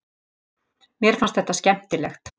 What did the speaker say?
Mér fannst þetta skemmtilegt.